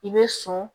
I bɛ sɔn